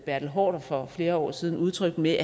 bertel haarder for flere år siden udtrykte med